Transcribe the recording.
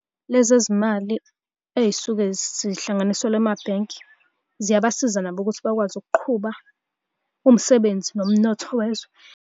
Lezi zimali ey'suke zihlanganiselwa emabhenki, ziyabasiza nabo ukuthi bakwazi ukuqhuba umsebenzi nomnotho wezwe.